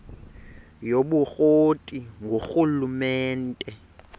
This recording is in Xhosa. yobukro ti ngurhulumente